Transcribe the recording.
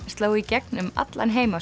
sló í gegn um allan heim